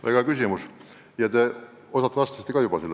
Väga hea küsimus ja te osalt vastasite selle juba ära.